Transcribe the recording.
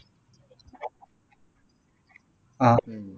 அஹ் உம்